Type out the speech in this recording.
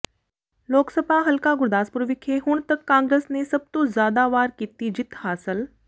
ਲੋਕਸਭਾ ਹਲਕਾ ਗੁਰਦਾਸਪੁਰ ਵਿਖੇ ਹੁਣ ਤੱਕ ਕਾਂਗਰਸ ਨੇ ਸਭ ਤੋਂ ਜ਼ਿਆਦਾ ਵਾਰ ਕੀਤੀ ਜਿੱਤ ਹਾਸਲ